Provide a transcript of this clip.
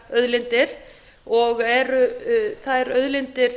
hugsanlegar auðlindir og eru þær auðlindir